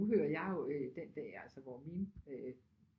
Nu hører jeg jo øh den der altså hvor mine øh